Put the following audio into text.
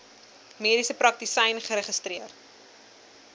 mediese praktisyn geregistreer